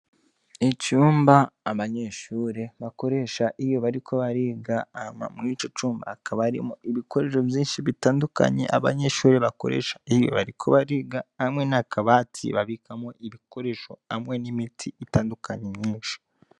Icumba abanyeshure bakoresha iyo bariko bariga .Hama mwico cumba hakaba harimwo Ibikoresho vyinshi bitandukanye abanyeshure bakoresha iyo bariko bariga hamwe n’akabati babikamwo ibikoresho hamwe n’imiti itandukanye myinshi .